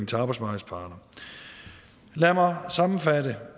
til arbejdsmarkedets parter lad mig sammenfatte